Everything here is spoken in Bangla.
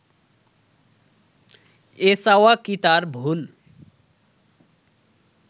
এ চাওয়া কি তার ভুল